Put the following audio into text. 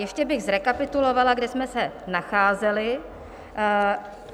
Ještě bych zrekapitulovala, kde jsme se nacházeli.